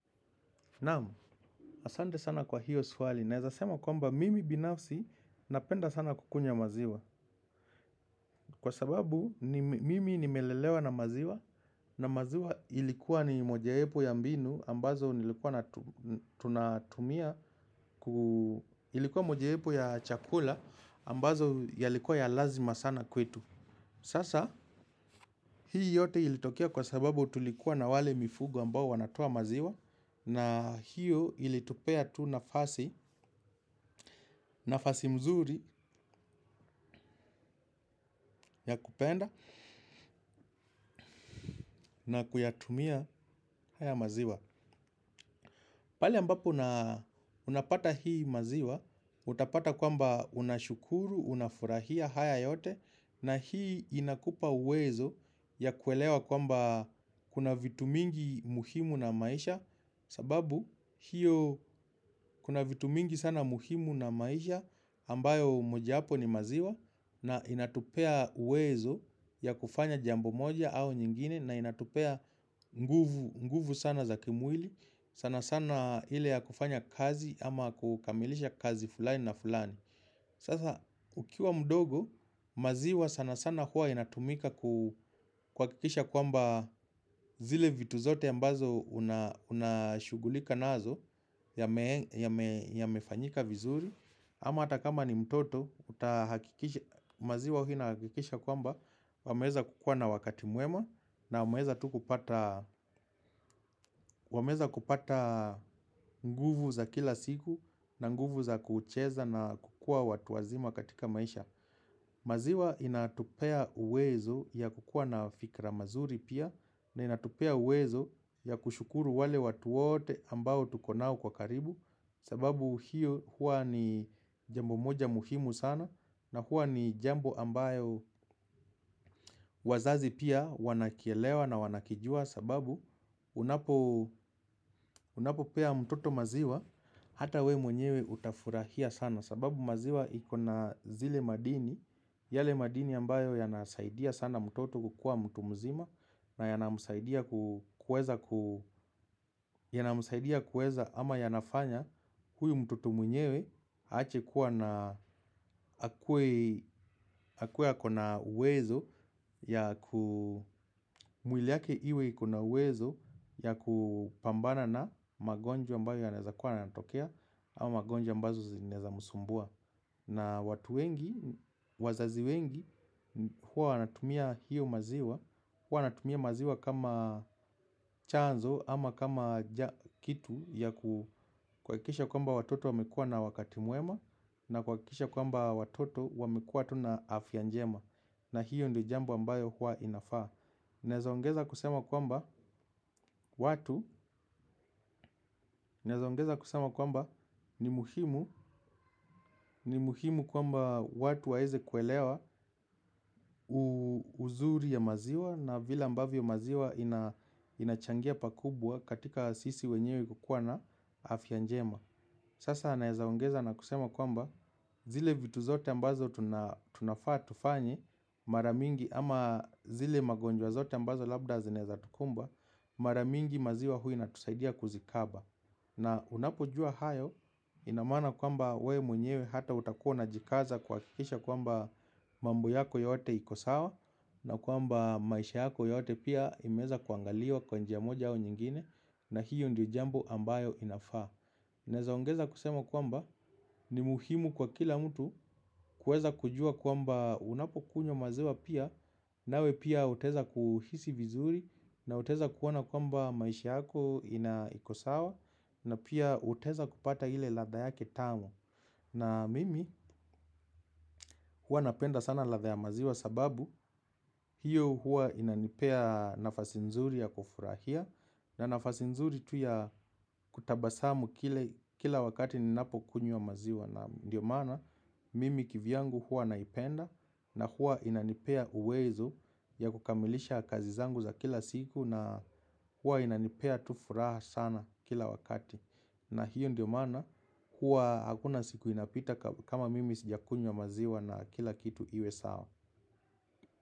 Naam, asante sana kwa hiyo swali. Naeza sema kwamba mimi binafsi napenda sana kukunywa maziwa. Kwa sababu mimi nimelelewa na maziwa. Na maziwa ilikuwa ni mojawapo ya mbinu ambazo ilikuwa mojawapo ya chakula ambazo yalikuwa ya lazima sana kwetu. Sasa, hii yote ilitokea kwa sababu tulikuwa na wale mifugo ambao wanatoa maziwa. Na hiyo ilitupea tu nafasi mzuri ya kupenda na kuyatumia haya maziwa pale ambapo unapata hii maziwa, utapata kwamba unashukuru, unafurahia haya yote. Na hii inakupa uwezo ya kuelewa kwamba kuna vitu mingi muhimu na maisha. Sababu hiyo kuna vitu mingi sana muhimu na maisha ambayo mojawapo ni maziwa. Na inatupea uwezo ya kufanya jambo moja au nyingine na inatupea nguvu sana za kimwili. Sana sana ile ya kufanya kazi ama kukamilisha kazi fulani na fulani. Sasa ukiwa mdogo maziwa sana sana huwa inatumika kuhakikisha kwamba zile vitu zote ambazo unashughulika nazo yamefanyika vizuri ama hata kama ni mtoto maziwa huwa inahakikisha kwamba wameweza kukuwa na wakati mwema na wameweza kupata nguvu za kila siku na nguvu za kucheza na kukua watu wazima katika maisha maziwa inatupea uwezo ya kukuwa na fikra mazuri pia na inatupea uwezo ya kushukuru wale watu wote ambao tuko nao kwa karibu. Sababu hiyo hua ni jambo moja muhimu sana. Na hua ni jambo ambayo wazazi pia wanakielewa na wanakijua. Sababu unapo pea mtoto maziwa. Hata we mwenyewe utafurahia sana. Sababu maziwa iko na zile madini. Yale madini ambayo yanasaidia sana mtoto kukua mtu mzima. Na yanamsaidia kueza ama yanafanya huyo mtoto mwenyewe aache kuwa na akuwe ako na uwezo ya ku mwiliake iwe iko na uwezo ya kupambana na magonjwa ambayo yanaeza kuwa yananatokea. Ama magonjwa ambazo zinaeza musumbua. Na watu wengi, wazazi wengi huwa wanatumia hiyo maziwa. Huwa wanatumia maziwa kama chanzo ama kama kitu ya kuhakikisha kwamba watoto wamekuwa na wakati mwema. Na kuhakikisha kwamba watoto wamekuwa tu na afya njema. Na hiyo ndo jambo ambayo huwa inafaa. Naeza ongeza kusema kwamba ongeza kusema kwamba ni muhimu. Ni muhimu kwamba watu waeze kuelewa uzuri ya maziwa. Na vila mbavyo maziwa inachangia pakubwa katika sisi wenyewe kukua na afya njema. Sasa naeza ongeza na kusema kwamba zile vitu zote ambazo tunafaa tufanye. Mara mingi ama zile magonjwa zote ambazo labda zinaeza tukumba. Mara mingi maziwa huwa inatusaidia kuzikaba. Na unapojua hayo ina maana kwamba we mwenyewe hata utakua unajikaza kuhakikisha kwamba mambo yako yote iko sawa na kwamba maisha yako yote pia imeeza kuangaliwa kwa njia moja au nyingine na hiyo ndio jambo ambayo inafaa. Naeza ongeza kusema kwamba ni muhimu kwa kila mtu kuweza kujua kuamba unapokunywa maziwa pia nawe pia utaeza kuhisi vizuri na utaeza kuona kwamba maisha yako ina iko sawa na pia utaeza kupata ile ladha yake tamu na mimi huwa napenda sana ladha ya maziwa sababu hiyo huwa inanipea nafasi nzuri ya kufurahia. Na nafasi nzuri tu ya kutabasamu kila wakati ninapo kunywa maziwa. Na ndio maana mimi kivyangu huwa naipenda. Na huwa inanipea uwezo ya kukamilisha kazi zangu za kila siku. Na huwa inanipea tu furaha sana kila wakati. Na hiyo ndio mana huwa hakuna siku inapita kama mimi sijakunywa maziwa na kila kitu iwe sawa.